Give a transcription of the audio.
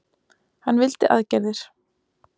Hann vildi aðgerðir.